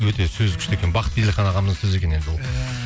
өте сөзі күшті екен бақыт еделхан ағамыздың сөзі екен енді ол иә